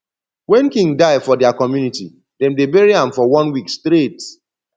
when king die for dia community dem dey bury am for one week straight